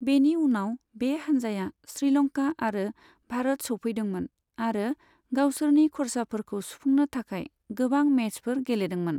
बेनि उनाव बे हानजाया श्रीलंका आरो भारत सौफैदोंमोन आरो गावसोरनि खर्साफोरखौ सुफुंनो थाखाय गोबां मेचफोर गेलेदोंमोन।